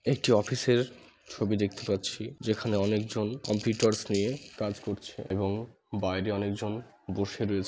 একটি অফিস -এর ছবি দেখতে পাচ্ছি ।যেখানে অনেকজন কম্পিউটার্স নিয়ে কাজ করছে এবং বাইরে অনেকজন বসে রয়েছ--